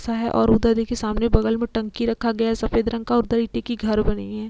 ऐसा है और उधर देखिए सामने बगल मे टंकी रखा गया है सफेद रंग का और घर बने हैं।